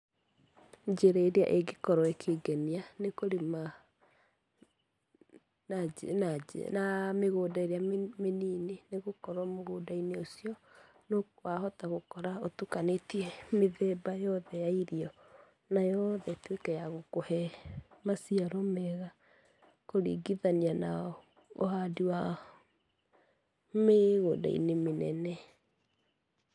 Njĩra ĩrĩa ĩngĩkorwo ĩkĩngenia nĩ kũrĩma mĩgũnda ĩrĩa mĩnini nĩ gũkorwo mũgũnda-inĩ ũcio, wahota gũkora ũtukanĩtie mĩthemba yothe ya irio, na yothe ĩtuĩke ya gũkũhe maciaro mega kũringithania na ũhandi wa mĩgũnda-inĩ mĩnene.